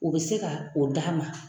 O bɛ se ka o d'a ma.